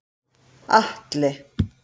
Atli